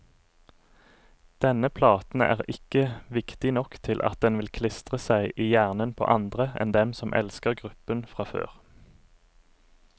Denne platen er ikke viktig nok til at den vil klistre seg i hjernen på andre enn dem som elsker gruppen fra før.